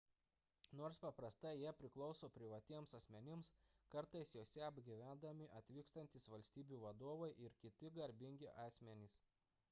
nors paprastai jie priklauso privatiems asmenims kartais juose apgyvendami atvykstantys valstybių vadovai ir kiti garbingi asmenys